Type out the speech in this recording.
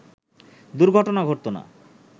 দুর্ঘটনা ঘটত না